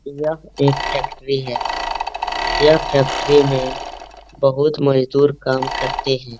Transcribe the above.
यह एक फैक्ट्री है। यह फैक्ट्री में बहुत मजदूर काम करते हैं।